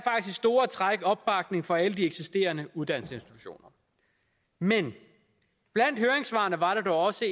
i store træk opbakning fra alle de eksisterende uddannelsesinstitutioner men blandt høringssvarene var dog også